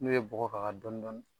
N'o ye bɔgɔ k'a kan dɔni dɔni